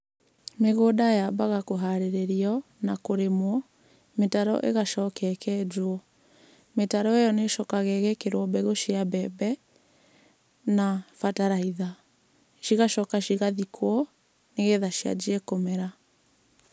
Mĩgũnda yambaga kũharĩrĩrio na kũrĩmwo, mĩtaro ĩgacoka ĩkenjwo. Mĩtaro-ĩyo nĩ ĩcokaga ĩgekĩrwo mbegũ cia mbembe na bataraitha. Cigacoka cigathikwo, nĩgetha cianjie kũmera.